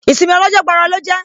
Ìsinmi ọ lọ́jọ́ gbọọrọ lọ jẹ́